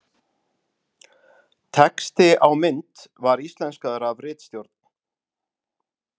Texti á mynd var íslenskaður af ritstjórn.